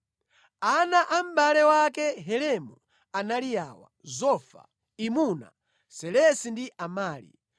Ana a mʼbale wake Helemu anali awa: Zofa, Imuna, Selesi ndi Amali.